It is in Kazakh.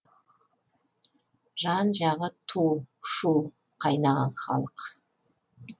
жан жағы ту шу қайнаған халық